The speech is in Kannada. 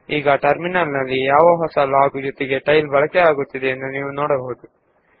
ಈಗ ನೀವು ಟೈಲ್ ಕಾರ್ಯನಿರತವಾಗಿರುವ ಟರ್ಮಿನಲ್ ನಲ್ಲಿ ಹೊಸ ಲಾಗ್ ಸೇರಿರುವುದನ್ನು ಕಾಣಬಹುದು